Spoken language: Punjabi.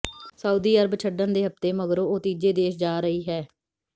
ਸਾਊਦੀ ਅਰਬ ਛੱਡਣ ਦੇ ਹਫ਼ਤੇ ਮਗਰੋਂ ਉਹ ਤੀਜੇ ਦੇਸ਼ ਜਾ ਰਹੀ ਹੈ